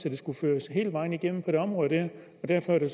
at det skulle føres hele vejen igennem på det område her derfor er det